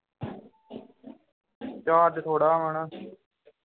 charge ਥੋੜਾ ਹੈ ਨਾ